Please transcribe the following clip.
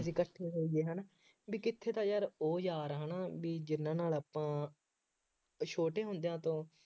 ਜਿਦਾਂ ਇਕੱਠੇ ਹੋਈਏ ਹੈ ਨਾ, ਬਈ ਕਿੱਥੇ ਤਾਂ ਯਾਰ ਉਹ ਯਾਰ ਹੈ ਨਾ ਬਈ ਜਿੰਨ੍ਹਾ ਨਾਲ ਆਪਾਂ ਛੋਟੇ ਹੁੰਦਿਆਂ ਤੋਂ